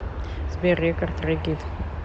сбер регард регит